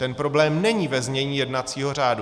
Ten problém není ve znění jednacího řádu.